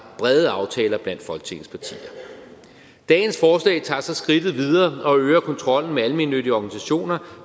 brede aftaler blandt folketingets partier dagens forslag tager så skridtet videre og øger kontrollen med almennyttige organisationer